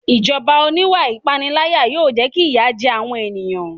Ìjọba oníwà ìpániláyà yóò jẹ́ kí ìyà jẹ àwọn èèyàn